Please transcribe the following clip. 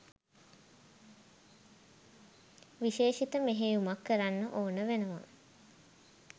විශේෂිත මෙහෙයුමක් කරන්න ඕන වෙනවා